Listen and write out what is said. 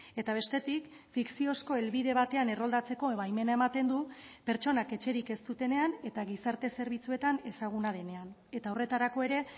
eta bestetik fikziozko helbide batean erroldatzeko baimena ematen du pertsonak etxerik ez dutenean eta gizarte zerbitzuetan ezaguna denean eta horretarako ere